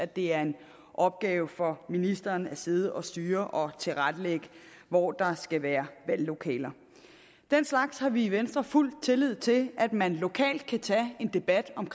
det er en opgave for ministeren at sidde og styre og tilrettelægge hvor der skal være valglokaler den slags har vi i venstre fuld tillid til at man lokalt kan tage en debat om